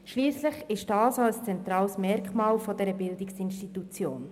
Schliesslich ist dies auch ein zentrales Merkmal dieser Bildungsinstitution.